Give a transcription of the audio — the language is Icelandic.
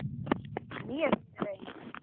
Mér líður eins.